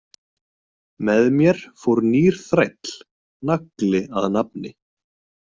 Með mér fór nýr þræll, Nagli að nafni.